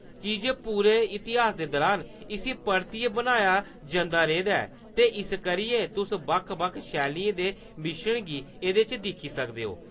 की जे पूरे इतिहास दे दुरान इस्सी परतियै बनाया जंदा रेह् दा ऐ, ते इस करियै, तुस बक्ख-बक्ख शैलियें दे मिश्रण गी एह्‌दे च दिक्खी सकदे ओ।